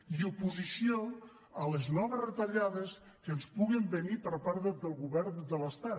i oposició a les noves retallades que ens puguin venir per part del govern de l’estat